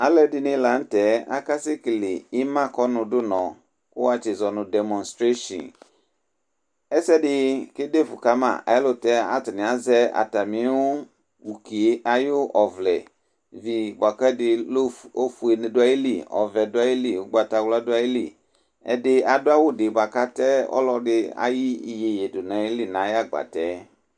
alò ɛdini lantɛ aka sɛ kele ima kɔ no du nɔ kò wa tsi zɔ no dɛmɔnstreshin ɛsɛ di ke defu kama ɛlutɛ atani azɛ atami ukie ayi ɔvlɛ vi boa k'ofue du ayili ɔvɛ du ayili ugbata wla du ayili ɛdi adu awu di boa k'ata ɔlò ɛdi ayi yeye du n'ayili n'ayi agbatɛ.